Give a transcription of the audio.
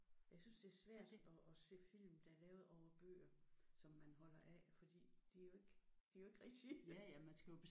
Jeg synes det er svært at at se film der er lavet over bøger som man holder af fordi de er jo ikke de er jo ikke rigtige